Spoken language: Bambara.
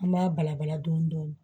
An b'a balabala dɔɔnin dɔɔnin